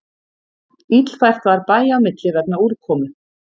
Illfært var bæja á milli vegna úrkomu